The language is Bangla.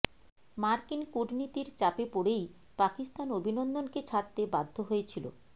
মার্কিন কূটনীতির চাপে পড়েই পাকিস্তান অভিনন্দনকে ছাড়তে বাধ্য হয়েছিল